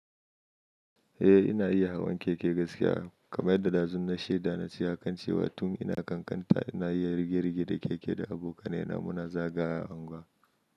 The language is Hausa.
Eh, ina iya hawan keke gaskiya. Kamar da dazun na shaida na tsaya kan cewa, tun ina ƙanƙanta ina iya rige-rige da keke da abokanai na muna zagayawa a unguwa.